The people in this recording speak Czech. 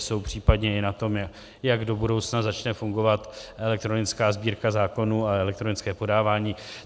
Jsou případně i na tom, jak do budoucna začne fungovat elektronická Sbírka zákonů a elektronické podávání.